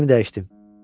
Fikrimi dəyişdim.